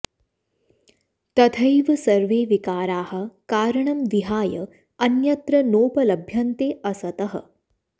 तथैव सर्वे विकाराः कारणं विहाय अन्यत्र नोपलभ्यन्ते असतः